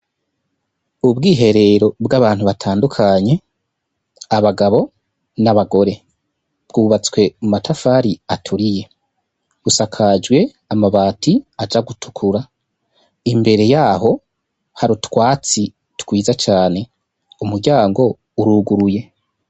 Ubwiherero bw'abantu batandukanye abagabo n'abagore bwubatswe mu matafari aturiye busakajwe amabati aja gutukura imbere yaho hari utwatsi twiza cane umuryango uruguruye.